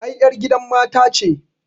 Ai ƴar gidan mata ce